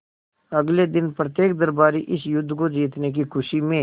अगले दिन प्रत्येक दरबारी इस युद्ध को जीतने की खुशी में